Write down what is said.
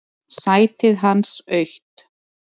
Sætið hans autt.